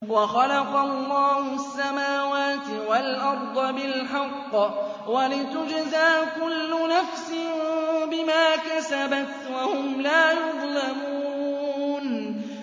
وَخَلَقَ اللَّهُ السَّمَاوَاتِ وَالْأَرْضَ بِالْحَقِّ وَلِتُجْزَىٰ كُلُّ نَفْسٍ بِمَا كَسَبَتْ وَهُمْ لَا يُظْلَمُونَ